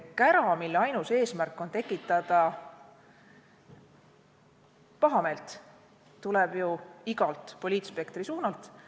Kära, mille ainus eesmärk on tekitada pahameelt, tuleb ju igalt poliitspektri suunalt.